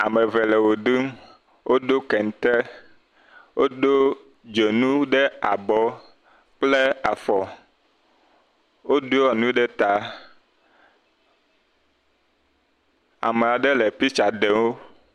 Ame eve le wo ɖum wodo kente wodo dzonu ɖe abɔ, kple afɔ, wodo enu ɖe ta, ame aɖe le piktsa ɖem wo.